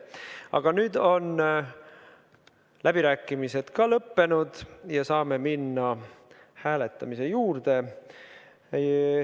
Aga nüüd on läbirääkimised lõppenud ja me saame minna hääletamise juurde.